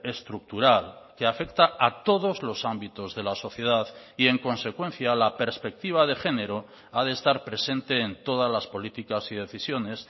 estructural que afecta a todos los ámbitos de la sociedad y en consecuencia la perspectiva de género ha de estar presente en todas las políticas y decisiones